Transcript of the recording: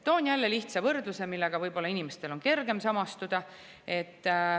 Toon jälle lihtsa võrdluse, millega inimestel on võib-olla kergem samastuda.